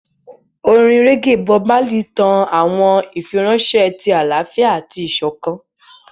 Orin reggae Bob Marley tan awọn ifiranṣẹ ti alaafia ati isokan.